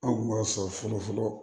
Anw kun b'a sɔrɔ fɔlɔ fɔlɔ